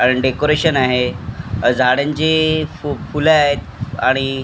आणि डेकोरेशन आहे झाडांची फुले आहेत आणि --